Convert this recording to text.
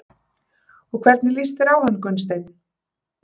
Og hvernig líst þér á hann Gunnsteinn?